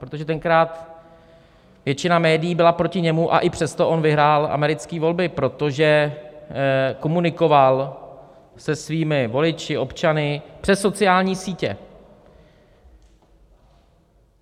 Protože tenkrát většina médií byla proti němu, a i přesto on vyhrál americké volby, protože komunikoval se svými voliči, občany, přes sociální sítě.